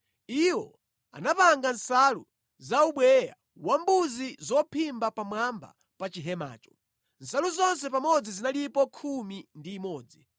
Iwo anapanga nsalu za ubweya wambuzi zophimba pamwamba pa chihemacho. Nsalu zonse pamodzi zinalipo khumi ndi imodzi.